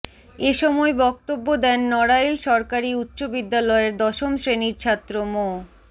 এ সময় বক্তব্য দেন নড়াইল সরকারি উচ্চ বিদ্যালয়ের দশম শ্রেণির ছাত্র মো